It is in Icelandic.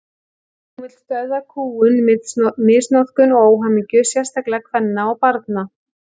Hún vill stöðva kúgun, misnotkun og óhamingju, sérstaklega kvenna og barna.